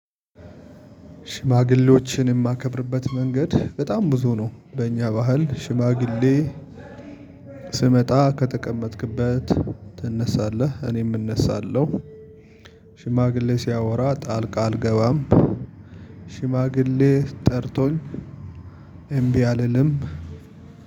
ሽማግሌዎችን እማከብርበት መንገድ በጣም ብዙ ነው በእኛ ባህል ሽማግሌ ስመጣ ከተቀመጥክበት ትነሳለህ እኔም እነሳለሁ። ሽማግሌ ሲያወራ ጣልቃ አልገባም። ሽማግሌ ጠርቶኝ። እምቢ አልልም።